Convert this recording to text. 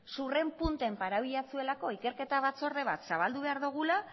sudurren puntan para ikerketa batzorde bat zabaldu behar dugula